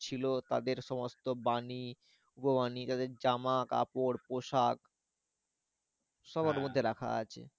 ছিল তাদের সমস্ত বাণী উপবাণী তাদের জামা কাপড় পোশাক সব ওর মধ্যে রাখা আছে।